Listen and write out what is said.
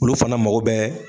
Olu fana mago bɛ